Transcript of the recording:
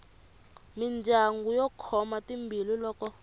mindyangu yo khoma timbilu loko